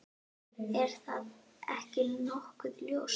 Er það ekki nokkuð ljóst?